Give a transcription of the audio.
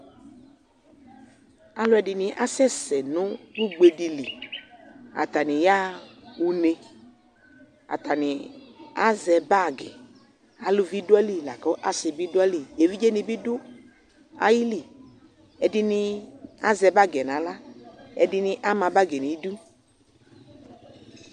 Alu ɛdini asɛsɛ nʋ ugbediliAtani yaɣaa uneAtani azɛ bagiAluvi dʋayili , lakʋ asi bi dʋayiliƐvidze ni bi dʋ ayiliƐdini azɛ bagiɛ naɣlaƐdini ama bagiɛ nidu